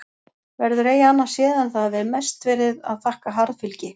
Verður eigi annað séð en það hafi mest verið að þakka harðfylgi